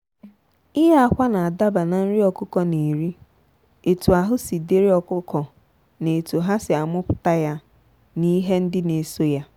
ịye akwa na adaba na nri ọkụkọ na eri etu ahụ si dịrị ọkụkọ na etu ha si amupụta ya na ihe ndị n'eso ya.